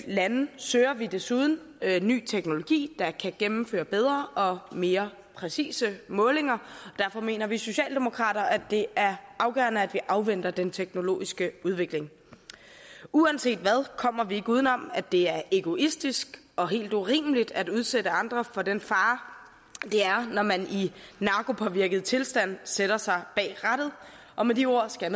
lande søger vi desuden ny teknologi der kan gennemføre bedre og mere præcise målinger derfor mener vi socialdemokrater at det er afgørende at vi afventer den teknologiske udvikling uanset hvad kommer vi ikke uden om at det er egoistisk og helt urimeligt at udsætte andre for den fare det er når man i narkopåvirket tilstand sætter sig bag rattet og med de ord skal